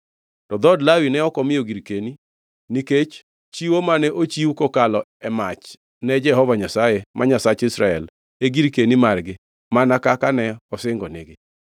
To dhood Lawi ne ok omiyo girkeni, nikech chiwo mane ochiw kokalo e mach ne Jehova Nyasaye, ma Nyasach Israel e girkeni margi, mana kaka ne osingonigi.